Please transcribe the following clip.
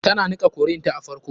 Tana niƙa curry ta a farko.